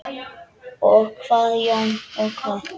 Og hvað Jón, og hvað?